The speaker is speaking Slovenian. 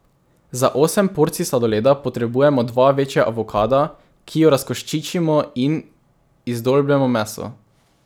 Za osem porcij sladoleda potrebujemo dva večja avokada, ki ju razkoščičimo in izdolbemo meso.